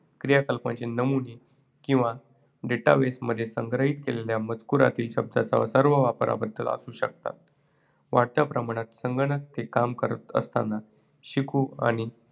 क्रियाकलापांचे नमुने, किंवा database मध्ये संग्रहित केलेल्या मजकूरातील शब्दाच्या सर्व वापराबद्दल असू शकतात. वाढत्या प्रमाणात, संगणक ते काम करत असताना शिकू आणि